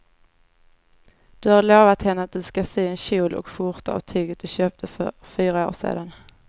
Du har lovat henne att du ska sy en kjol och skjorta av tyget du köpte för fyra år sedan.